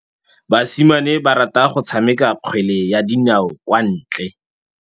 Basimane ba rata go tshameka kgwele ya dinaô kwa ntle.